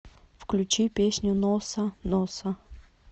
включи песню носса носса